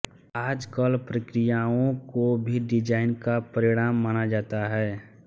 आजकल प्रक्रियाओंको भी डिजाइन का परिणाम माना जाता है